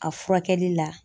A furakɛli la.